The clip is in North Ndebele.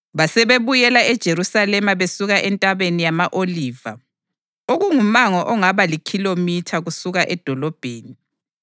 Basebebuyela eJerusalema besuka eNtabeni yama-Oliva, okungumango ongaba likhilomitha kusuka edolobheni.